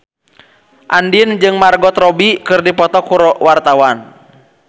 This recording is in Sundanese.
Andien jeung Margot Robbie keur dipoto ku wartawan